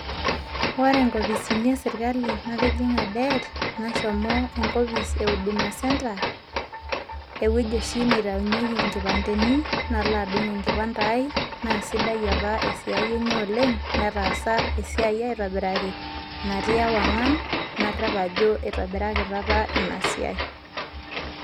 Ore inkopisini esirkali natijing'a det, nashomo enkopis e huduma centre, ewueji oshi neitayunyeki ikipandeni nalo adung' ekipande ai. Na sidai apa esiai enye oleng', netaasa esiai aitobiraki natii ewang'an, narrep ajo itobirakitia apa ina siai.